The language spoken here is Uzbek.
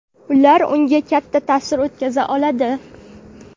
ular unga katta ta’sir o‘tkaza oladi.